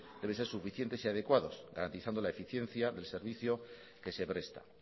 debe ser suficiente y adecuados garantizando la eficiencia del servicio que se presta